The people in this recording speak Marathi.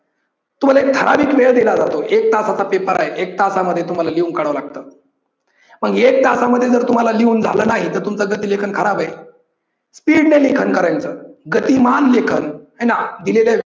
तुम्हाला एक ठाराविक वेळ दिला जातो एक तासाचा paper आहे, एक तासामध्ये तुम्हाला लिहून काढाव लागतं. पण एक तासामध्ये जर तुम्हाला लिहून झाल नाही तर तुमचं गती लेखन खराब आहे. speed ने लेखन करायचं, गतिमान लेखन, हाय ना! दिलेल्या